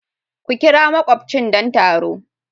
Ku ƙira makubchin don taro.